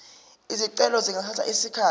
izicelo zingathatha isikhathi